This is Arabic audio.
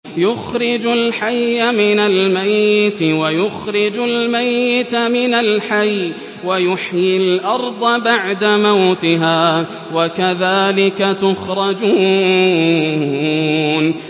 يُخْرِجُ الْحَيَّ مِنَ الْمَيِّتِ وَيُخْرِجُ الْمَيِّتَ مِنَ الْحَيِّ وَيُحْيِي الْأَرْضَ بَعْدَ مَوْتِهَا ۚ وَكَذَٰلِكَ تُخْرَجُونَ